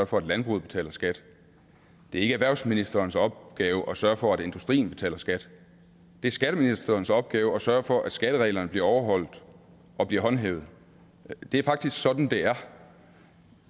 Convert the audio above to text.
for at landbruget betaler skat det er ikke erhvervsministerens opgave at sørge for at industrien betaler skat det er skatteministerens opgave at sørge for at skattereglerne bliver overholdt og bliver håndhævet det er faktisk sådan det er